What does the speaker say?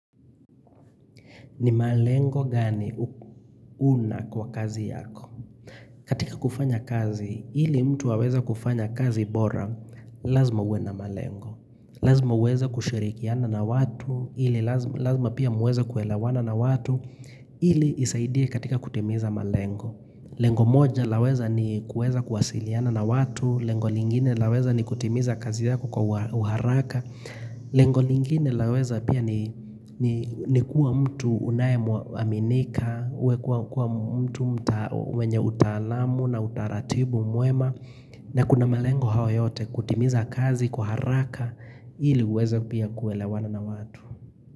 Ni malengo gani una kwa kazi yako. Katika kufanya kazi, ili mtu aweza kufanya kazi bora, lazima uwe na malengo. Lazima uweza kushirikiana na watu, ili lazima pia muweza kuelawana na watu, ili isaidie katika kutimiza malengo. Lengo moja, laweza ni kuweza kuwasiliana na watu. Lengo lingine, laweza ni kutimiza kazi yako kwa uharaka. Lengo lingine laweza pia ni kuwa mtu unae aminika uwe kuwa mtu wenye utalamu na utaratibu mwema na kuna melengo hawa yote kutimiza kazi kwa haraka ili uweza pia kuelewana na watu.